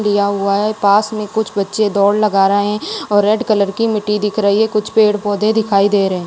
लिया हुआ है पास में कुछ बच्चे दौड़ लगा रहे और रेड कलर की मिट्टी दिख रही है कुछ पेड़ पौधे दिखाई दे रहें --